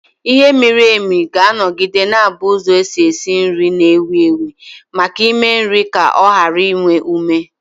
Ighe miri emi ga-anọgide na-abụ ụzọ esi esi nri na-ewu ewu maka ịme nri ka o ghara inwe ume.